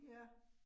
Ja